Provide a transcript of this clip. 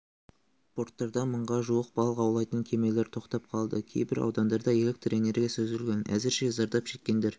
порттарда мыңға жуық балық аулайтын кемелер тоқтап қалды кейбір аудандарда электр энергиясы үзілген әзірше зардап шеккендер